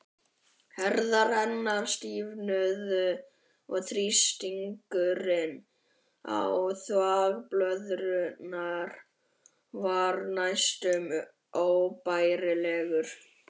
Herðar hennar stífnuðu og þrýstingurinn á þvagblöðruna varð næstum óbærilegur.